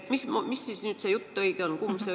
Kumb jutt siis see õige on?